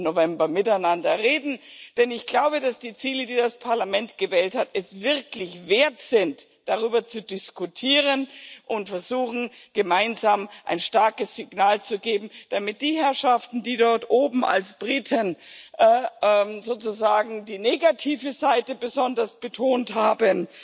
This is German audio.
15. November miteinander reden, denn ich glaube, dass die Ziele, die das Parlament gewählt hat, es wirklich wert sind, darüber zu diskutieren und wir versuchen sollten, gemeinsam ein starkes Signal zu setzen an die Herrschaften, die dort oben als Briten sozusagen die negative Seite besonders betont haben.